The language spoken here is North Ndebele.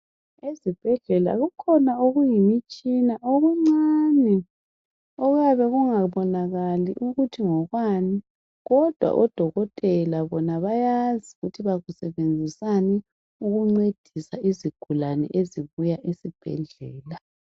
Ezibhedlela kukhona okuyimitshina okuncane okuyabe kungabonakali ukuthi ngokwani kodwa odokotela bona bayazi ukuthi bakusebenzisani ukuncedisa izigulane ezibuya esibhedlela.